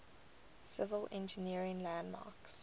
civil engineering landmarks